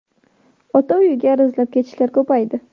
Ota uyga arazlab ketishlar ko‘paydi.